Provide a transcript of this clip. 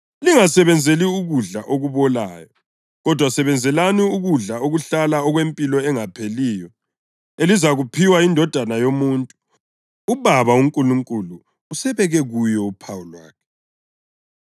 Lingasebenzeli ukudla okubolayo, kodwa sebenzelani ukudla okuhlala okwempilo engapheliyo elizakuphiwa yiNdodana yoMuntu. UBaba uNkulunkulu usebeke kuyo uphawu lwakhe.”